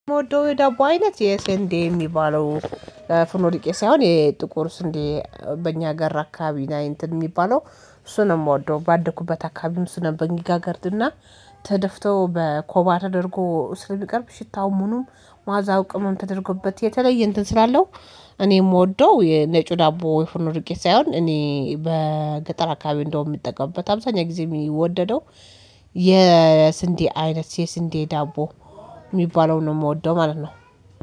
የምወደው የዳቦ አይነት የስንዴ የሚባለው ፍኖ ዱቄት ሳይሆን የጥቁር ስንዴ በእኛ ህገር አካባቢ እንትን የሚባለው እሱ ነው የምወደው ባደኩበት አካባቢውን እሱ ነው በሚጋገረድና ተደፍቶ በኮባ ተደርጎ ስለሚቀርብ ሽታውም ሁኑም ማዛው ቅምም ተደርጎበት የተለየ እንትን ስላለው። እኔ የምወደው የኔ ጩህ ዳቦ ፉኖ ዱቄት ሳይሆን እኔ በገጠር አካባቢ እንደውም የምጠቀምበት አብዛኛው ጊዜ የሚወደደው የስንዴ አይነት የስንዴ ዳቦ የሚባለውን ነው የምወደው ማለት ነው።